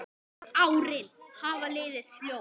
Árin hafa liðið fljótt.